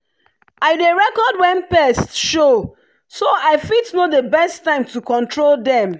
i dey record when pests show so i fit know the best time to control dem.